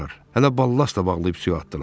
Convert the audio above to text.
Hələ ballast da bağlayıb suya atdılar.